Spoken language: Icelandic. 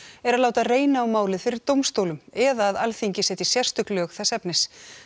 er að láta reyna á málið fyrir dómstólum eða að Alþingi setji sérstök lög þess efnis